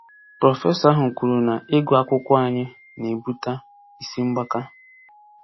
Prọfesọ ahụ kwuru na ịgụ akwụkwọ anyị na-ebute isi mgbaka.